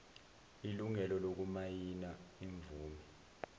ilungelo lokumayina imvume